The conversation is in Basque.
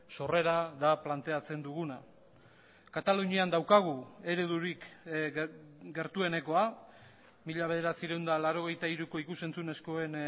sorrera da planteatzen duguna katalunian daukagu eredurik gertuenekoa mila bederatziehun eta laurogeita hiruko ikus entzunezkoen